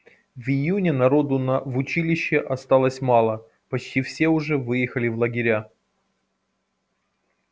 в июне народу на в училище осталось мало почти все уже выехали в лагеря